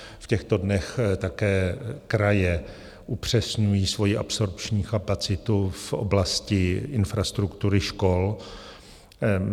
V těchto dnech také kraje upřesňují svoji absorpční kapacitu v oblasti infrastruktury škol.